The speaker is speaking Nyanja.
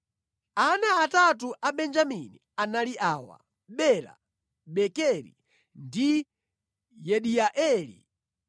Ana atatu a Benjamini anali awa: Bela, Bekeri ndi Yediaeli.